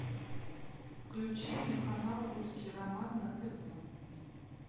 включи мне канал русский роман на тв